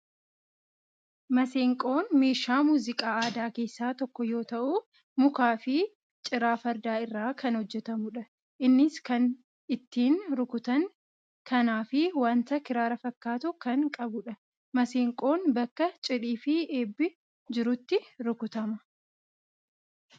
Maseenqoon meeshaa muuziqaa aadaa keessaa tokkoo yoo ta'u, mukaa fi ciraa farda irraa kan hojjetamudha. Innis kan ittiin rukutan kanaa fi waanta kiraara fakkaatu kan qabudha. Maseenqoon bakka cidhii fi eebbi jirutti rukutama.